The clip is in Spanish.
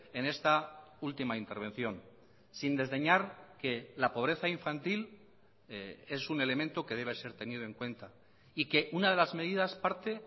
en esta última intervención sin desdeñar que la pobreza infantil es un elemento que debe ser tenido en cuenta y que una de las medidas parte